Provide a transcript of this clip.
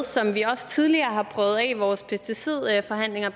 som vi også tidligere har prøvet af i vores pesticidforhandlinger